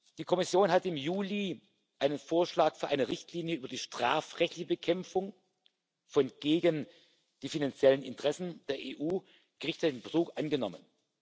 Die Kommission hat im Juli einen Vorschlag für eine Richtlinie über die strafrechtliche Bekämpfung von gegen die finanziellen Interessen der EU gerichtetem Betrug angenommen.